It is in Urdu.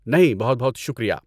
نہیں، بہت بہت شکریہ۔